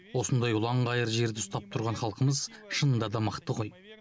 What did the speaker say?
осындай ұланғайыр жерді ұстап тұрған халқымыз шынында да мықты ғой